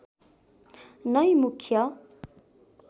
नै मुख्य